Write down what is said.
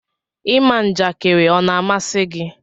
ịma njakiri ọ na amasi gi?